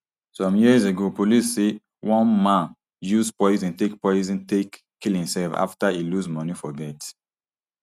some years ago police say one man use poison take poison take kill imself afta e lose money for bet